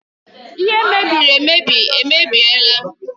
Ihe mebiri emebi emebiela